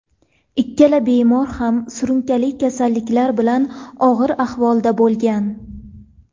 Ikkala bemor ham surunkali kasalliklar bilan og‘ir ahvolda bo‘lgan.